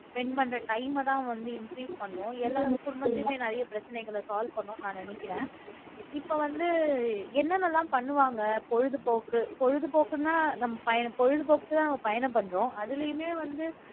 spend பண்ற time அதான் வந்து increase பண்ணும் எல்லா குடும்பத்திலயுமே நிறைய பிரச்சனைகளை solve பண்ணும்ன்னு நான் நினைக்கிறேன் இப்ப வந்து என்னென்னலாம் பண்ணுவாங்க பொழுதுபோக்கு பொழுதுபோக்குன்னா நம்ம பயணம் பொழுதுபோக்குக்குதான் நம்ம பயணம் பண்றோம் அதிலேயுமே வந்து